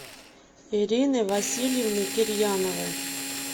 ириной васильевной кирьяновой